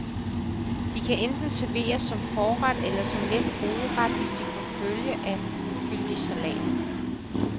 De kan enten serveres som forret eller som let hovedret, hvis de får følge af en fyldig salat.